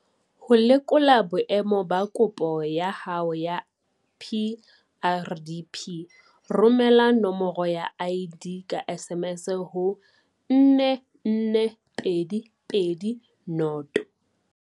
Ho lekola boemo ba kopo ya hao ya PrDP, romela nomoro ya ID ka SMS ho 44220.